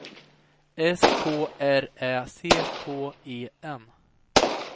S K R Ä C K E N